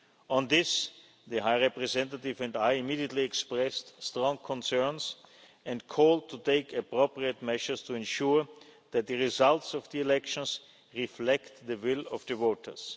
in Chişinău. On this, the High Representative and I immediately expressed strong concerns and called to take appropriate measures to ensure that the results of the elections reflect the will of